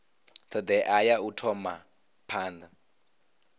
thodea ya u thoma phanda